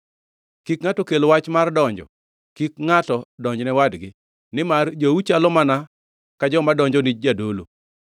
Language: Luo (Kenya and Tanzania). “Kik ngʼato kel wach mar donjo, kik ngʼato donjne wadgi, nimar jou chalo mana ka joma donjo ni jadolo.